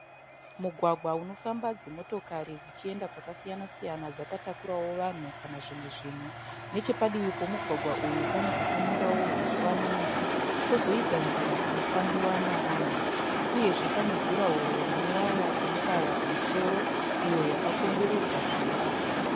Mugwagwa unofamba dzimotokari dzichienda kwakasiyana siyana dzakatakurawo vanhu kana zvimwe zvinhu. Nechepadivi pemugwagwa uyu pane pakamerawo huswa nemiti. Kwozoita nzira inofambiwa navanhu uyezve pane jurahoro ine waya inobaya pamusoro iyo yakakomberedza zvivakwa.